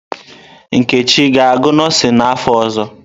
Nkechi ga-agụ nọọsịn n'afọ ọzọ?